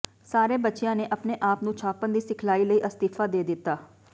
ਸਾਰੇ ਬੱਚਿਆਂ ਨੇ ਆਪਣੇ ਆਪ ਨੂੰ ਛਾਪਣ ਦੀ ਸਿਖਲਾਈ ਲਈ ਅਸਤੀਫ਼ਾ ਦੇ ਦਿੱਤਾ